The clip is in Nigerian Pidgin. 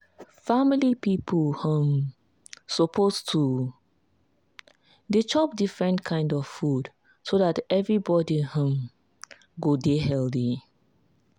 family people um suppose to dey chop different kind of food so dat everybody um go dey healthy.